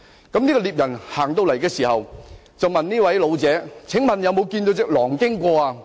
該名獵人來到的時候，問這位老者："請問你有否看到一隻狼經過？